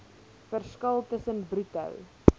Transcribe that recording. verskil tussen bruto